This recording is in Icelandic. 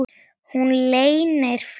Og hún leynir flugi sínu.